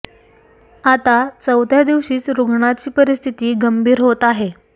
आता चौथ्या दिवशीच रुग्णाची परिस्थिती गंभीर होत आहे